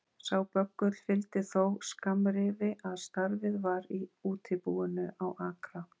Sá böggull fylgdi þó skammrifi að starfið var í útibúinu á Akra